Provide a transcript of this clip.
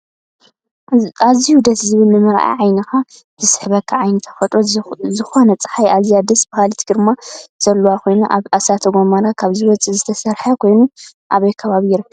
ኣዝዩ ደሰ ዝብል ንምርኣይ ዓይኒካ ዝስሕበካ ዓይነት ተፈጥሮ ዝኮነፀሓይ ኣዝያ ደስ ብሃሊት ግርማ ዘለዋን ኮይና ካብ እሳተ ጎሞራ ካብ ዝወፅእ ዝተሰረሐ ኮይኑ ኣበይ ከባቢ ይርከብ?